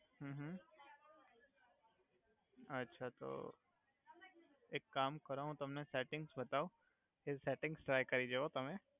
હુ હુ અછા તો એક કામ કરો હુ તમને સેટીંગ્સ બતાવુ એ સેટિંગ્સ ટ્રાય કરી જોવો તમે.